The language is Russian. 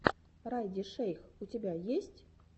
райди шейх у тебя есть